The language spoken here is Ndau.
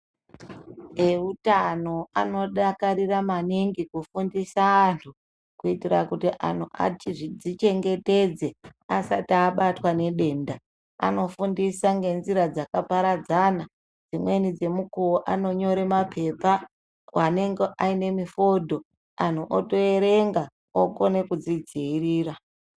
Eutano anodakarira maningi kufundisa antu, kuitira kuti antu achizvichengetedze asati abatwa nedenda. Anofundisa ngenzira dzakaparadzana. Dzimweni dzemukuwo anonyore mapepa anenge aine mifodho anhu otoerenga okone kuzvidziirira.